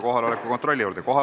Kohaloleku kontroll, palun!